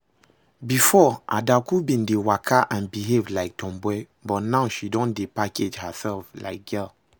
Before Adaku bin dey waka and behave like tomboy, but now she don dey package herself like girl